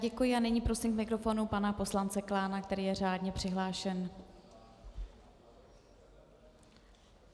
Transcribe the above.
Děkuji a nyní prosím k mikrofonu pana poslance Klána, který je řádně přihlášen.